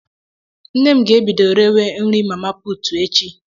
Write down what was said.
Nne m ga-ebido rewe nri mama puutu echi.